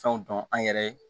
Fɛnw dɔn an yɛrɛ